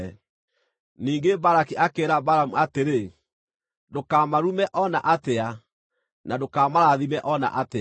Ningĩ Balaki akĩĩra Balamu atĩrĩ, “Ndũkamarume o na atĩa, na ndũkamarathime o na atĩa!”